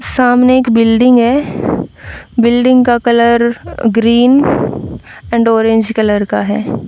सामने एक बिल्डिंग है बिल्डिंग का colour green and orange colour का है।